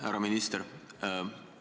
Härra minister!